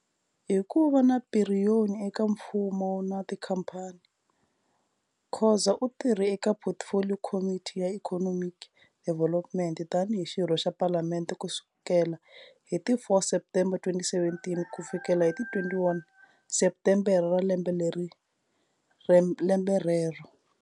Hi ku va na piriyoni eka mfumo na tikhampani, Khoza u tirhe eka Portfolio Committee ya Economic Development tani hi xirho xa Palamende ku sukela hi ti 4 Septembere 2017 ku fikela hi ti 21 Septembere wa lembe rero.